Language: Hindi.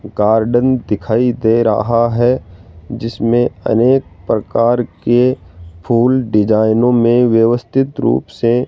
गार्डन दिखाई दे रहा है जिसमें अनेक प्रकार के फूल डिज़ाइनों में व्यवस्थित रूप से --